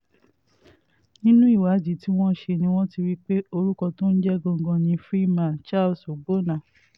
nínú ìwádìí tí wọ́n ṣe ni wọ́n ti rí i pé orúkọ tó ń jẹ́ gangan ni freeman charles ọgbọ́nna